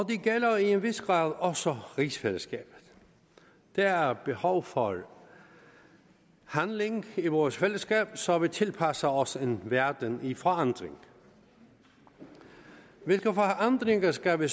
gælder i en vis grad også rigsfællesskabet der er behov for handling i vores fællesskab så vi tilpasser os en verden i forandring hvilke forandringer skal vi